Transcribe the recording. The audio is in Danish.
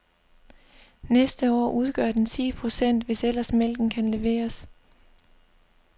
Næste år udgør den ti procent, hvis ellers mælken kan leveres.